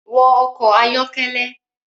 Wọ ọkọ ayọkẹlẹ